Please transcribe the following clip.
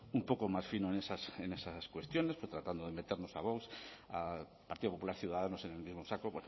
un poco más fino en esas cuestiones tratando de meternos a vox al partido popular ciudadanos en el mismo saco